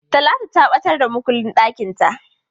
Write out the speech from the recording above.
Talatu ta ɓatar da makullin ɗakinta.